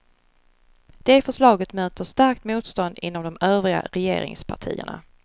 Det förslaget möter starkt motstånd inom de övriga regeringspartierna.